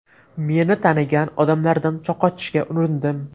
Meni tanigan odamlardan qochishga urindim.